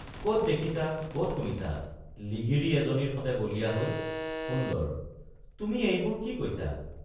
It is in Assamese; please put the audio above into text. কত দেখিছা কত শুনিছা —লিগিৰি এজনীৰ সতে বলিয়া হৈ— সুন্দৰ—তুমি এইবোৰ কি কৈছা?